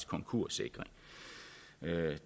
konkurssikring